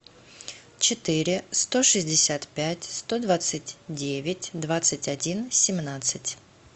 четыре сто шестьдесят пять сто двадцать девять двадцать один семнадцать